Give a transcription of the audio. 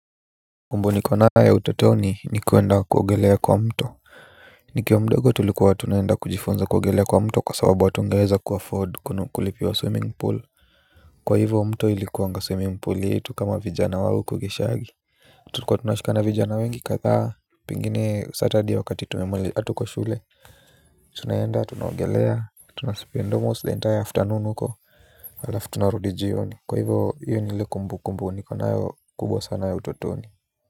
Kumbu nikonayo utotoni ni kuenda kuogelea kwa mto. Nikiwa mdogo tulikuwa tunaenda kujifunza kuogelea kwa mto kwa sababu hatungeeza kuafford kulipiwa swimming pool. Kwa hivo mto ilikuanga swimming pool yetu kama vijana wa uko geshaagi tulikua tunashikana vijana wengi kadhaa. Pingine surtaday wakati hatuko shule tunaenda tunaogelea. Tunaspend almost the entire afternoon huko. Halafu tunarudi jioni kwa hivo iyo ni ile kumbukumbu nikonayo kubwa sana ya utatoni.